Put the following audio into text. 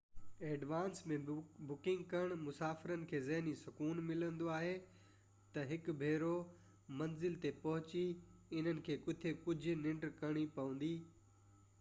advance ۾ booking ڪرڻ مسافر کي ذهني سڪون ملندو آهي ته هڪ ڀيرو منزل تي پهچي انهن کي ڪٿي ڪجهه ننڊ ڪرڻي پوندي